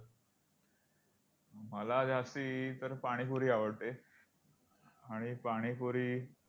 मला जास्ती तर पाणीपुरी आवडते. आणि पाणीपुरी,